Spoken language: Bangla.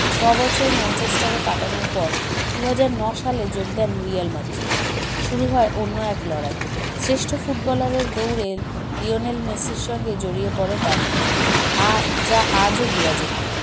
ছবছর ম্যানচেস্টারে কাটানোর পর দুহাজার ন সালে যোগ দেন রিয়াল মাদ্রিদে শুরু হয় অন্য এক লড়াই শ্রেষ্ঠ footballer - এর দৌড়ে লিওনেল মেসির সঙ্গে জড়িয়ে পড়ে তার নাম আ যা আজও বিরাজমান